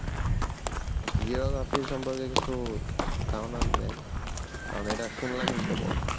Geography সম্পর্কে কিছু ধারণা দেন কারণ এটা শুনলামই কেবল